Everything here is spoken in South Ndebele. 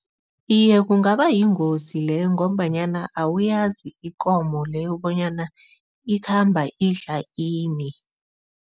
Iye, kungaba yingozi leyo ngombanyana awuyazi ikomo leyo bonyana ikhamba idla ini.